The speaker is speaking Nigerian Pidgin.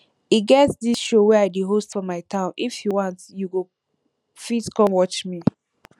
e get dis show wey i dey host for my town if you want you go fit come watch me